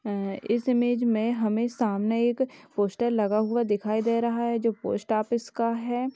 अ इस इमेज में हमे सामने एक पोस्टर लगा हुआ दिखाई दे रहा है जो पोस्ट ऑफिस का है।